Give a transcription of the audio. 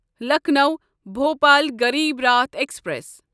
Lucknow Bhopal Garib Rath express